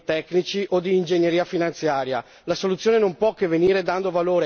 La soluzione non verrà da ragionamenti tecnici o d'ingegneria finanziaria.